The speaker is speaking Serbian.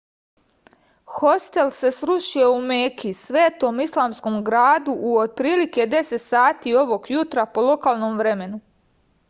hostel se srušio u meki svetom islamskom gradu u otprilike 10 sati ovog jutra po lokalnom vremenu